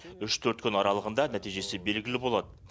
үш төрт күн аралығында нәтижесі белгілі болады